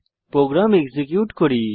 programme execute করি